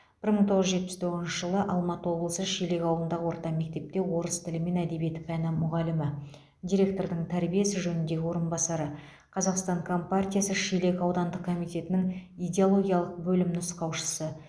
бір мың тоғыз жүз жетпіс тоғызыншы жылы алматы облысы шелек ауылындағы орта мектепте орыс тілі мен әдебиеті пәні мұғалімі директордың тәрбие ісі жөніндегі орынбасары қазақстан компартиясы шелек аудандық комитетінің идеологиялық бөлім нұсқаушысы